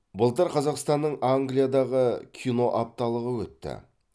былтыр қазақстанның англиядағы киноапталығы өтті